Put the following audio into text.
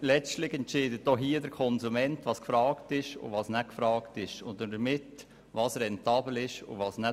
Letztlich entscheidet auch hier der Konsument, was gefragt ist und was nicht, und damit auch, was rentabel ist und was nicht.